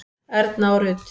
Erna og Rut.